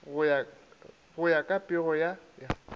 go ya ka pego ya